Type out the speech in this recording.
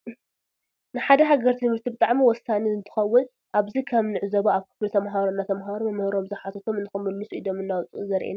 ንሓደ ሃገር ትምህርቲ ብጣዕሚ ወሳነ እንትከውን አብዚ ከም ንዕዞቦ አብ ክፍሊ ተምሃሮ እናተምሃሩ መምህሮም ዝሓተቶም ንክምሉሱ ኢዶም እናውፁኡ ዘሪኢየና እዩ።